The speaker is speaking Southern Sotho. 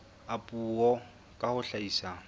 a puo ka ho hlahisa